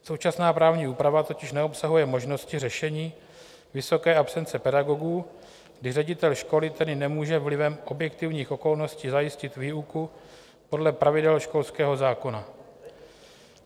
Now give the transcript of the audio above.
Současná právní úprava totiž neobsahuje možnosti řešení vysoké absence pedagogů, kdy ředitel školy tedy nemůže vlivem objektivních okolností zajistit výuku podle pravidel školského zákona.